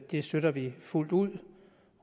det støtter vi fuldt ud